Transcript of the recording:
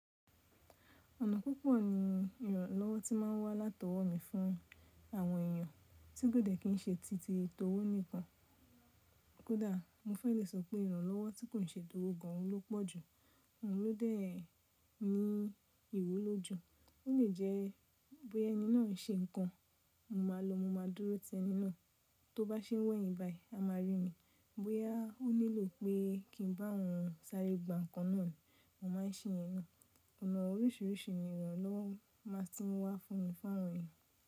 Ọ̀nà púpọ̀ ni ìrànlọ́wọ́ tí ma ń wá látọwọ́ mi fún àwọn èeyàn tí kò dẹ̀ kí ń ṣe ti tì tòwò nìkan. Kódà mo fẹ́ lè sọ pé ìrànlọ́wọ́ tí kò ṣe tòwò gan an n ló pọ̀ jù, òhun ló dẹ́ ní ìwúlò jù. Ó lè jẹ́ bóya ẹni náà ń ṣe nǹkan, mo máa lọ mo máa dúró tẹ́ ẹni náà, tó bá ṣe wẹ̀yin báyìí, a máa rí mi. Bóyá ó nílò pé kí n bá òhun ṣàrẹ́ gbà nǹkan náà ni, mo máa ń ṣe iyẹn naa. Ọ̀nà oríṣìíríṣìí ni ìrànlọ́wọ́ máa tí ń wá fún mi fún àwọn èeyàn.